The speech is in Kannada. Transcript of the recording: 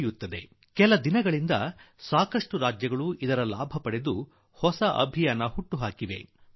ಕೆಲವು ರಾಜ್ಯಗಳು ಈಗ ಕೆಲವು ದಿನಗಳ ಹಿಂದೆ ಈ ಬಾರಿಯ ಮಳೆಗಾಲದ ಪ್ರಯೋಜನ ಪಡೆದು ಸಾಕಷ್ಟು ಗಿಡ ನೆಡುವ ಆಂದೋಲನ ಆರಂಭಿಸಿದೆ